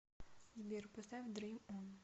сбер поставь дрим он